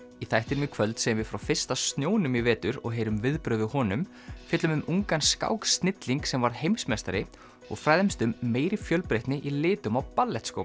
í þættinum í kvöld segjum við frá fyrsta snjónum í vetur og heyrum viðbrögð við honum fjöllum um ungan skáksnilling sem varð heimsmeistari og fræðumst um meiri fjölbreytni í litum á